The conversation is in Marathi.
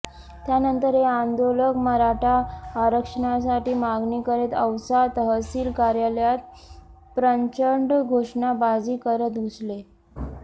त्यानंतर हे आंदोलक मराठा आरक्षणाची मागणी करीत औसा तहसील कार्यालयात प्रचंड घोषणाबाजी करत घुसले